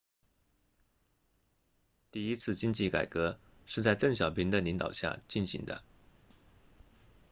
第一次经济改革是在邓小平的领导下进行的